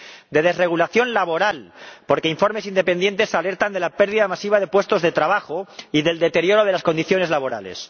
De desregulación laboral, porque informes independientes alertan de la pérdida masiva de puestos de trabajo y del deterioro de las condiciones laborales.